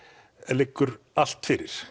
liggur allt fyrir